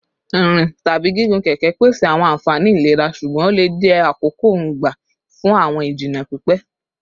Nrin tabi gigun keke pese awọn anfani ilera ṣugbọn o le jẹ akoko-n gba fun awọn ijinna pipẹ